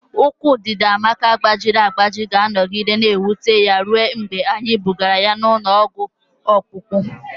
Ụkwụ Ndidiamaka gbajiri agbaji ga-anọgide na-ewute ya ruo mgbe anyị bugara ya ụlọ ọgwụ ọkpụkpụ.